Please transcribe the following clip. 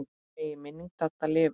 Megi minning Dadda lifa.